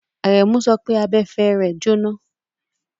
Àrẹ̀mú sọ pé abẹ̀fẹ̀ rẹ jóná.